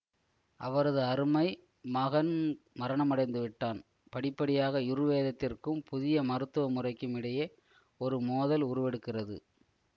அவரது அருமை மகன் மரணமடைந்து விட்டான் படிப்படியாக யுர்வேதத்திற்கும் புதிய மருத்துவமுறைக்கும் இடையே ஒரு மோதல் உருவெடுக்கிறது